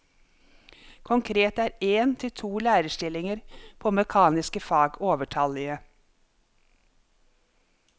Konkret er én til to lærerstillinger på mekaniske fag overtallige.